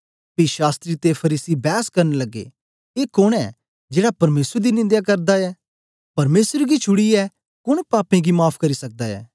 पी शास्त्री ते फरीसी बैस करन लग्गे ए कोन ऐ जेड़ा परमेसर दी निंदया करदा ऐ परमेसर गी छुड़ीयै कोन पापें गी माफ़ करी सकदा ऐ